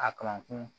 A kamakun